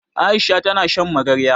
Aisha ta na shan magarya.